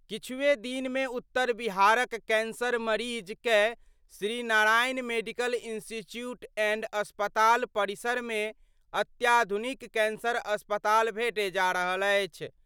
किछुए दिन मे उत्तर बिहार क कैंसर मरीज कए Shri Narayan medical institute and अस्पताल परिसर मे अत्याधुनिक कैंसर अस्पताल भेटय जा रहल अछि।